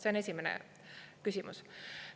See on esimene küsimus.